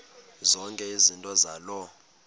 zonke izinto zaloo